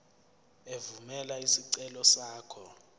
evumela isicelo sakho